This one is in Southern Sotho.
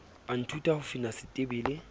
a nthuta ho fina setebele